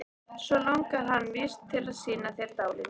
Svo langar hann víst til að sýna þér dálítið.